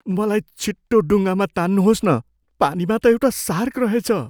मलाई छिटो डुङ्गामा तान्नुहोस् न, पानीमा त एउटा सार्क रहेछ।